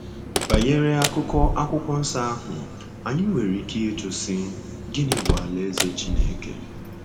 Banyere akụkụ Akwụkwọ Nsọ ahụ, anyị nwere ike ịjụ sị, 'Gịnị bụ Alaeze Chineke?'